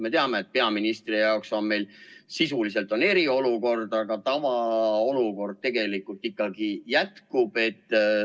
Me teame, et peaministri arvates meil on sisuliselt eriolukord, aga tavaolukord tegelikult ikkagi jätkub.